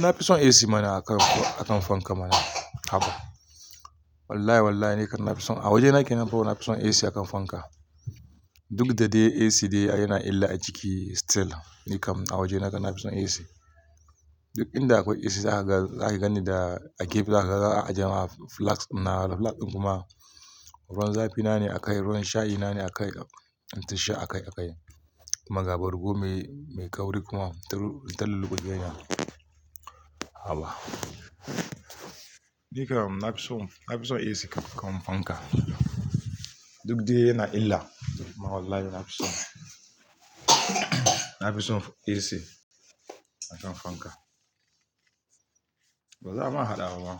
Na fi son AC mana a kan, a kan fanka mana. Haba. Wallahi wallahi nikam na fi son a waje na kinemfo na fi son AC a kan fanka. Duk da de AC de yana illa a jiki still nikam a waje na kan na fi son AC. Duk inda akwai AC zaka gani da a gefe zaka ajiye ma flask na flask kuma ruwan zafi na ne a kai, ruwan shayi na ne a kai. Inta sha a kai a kai. Magabar komai mai kauri kuma ta lugujeya. Haba. Nikam na fi son, na fi son AC a kan fanka. Duk dai yana illa. Wallahi na fi son. Na fi son AC a kan fanka. Ba za ama haɗa ba ma.